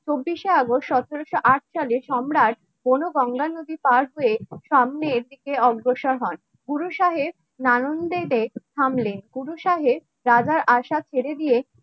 চব্বিশে আগস্ট সতেরোশো আট সালে সম্রাট কোন গঙ্গা নদী পার হয়ে সামনে এটিকে অগ্রসর হন থামলে গুরুসাহেব রাজার আশা ছেড়ে দিয়ে